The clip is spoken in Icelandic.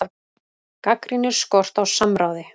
Gagnrýnir skort á samráði